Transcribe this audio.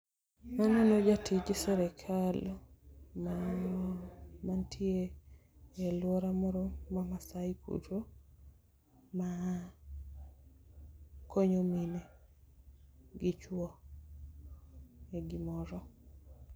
Aneno jatij sirkal ma nitie e aluora moro ma Maasai kucho ma konyo mine gi chuo e gimoro.